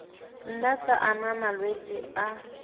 nna tsa ama malwetse a